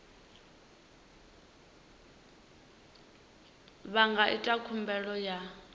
vha nga ita khumbelo ya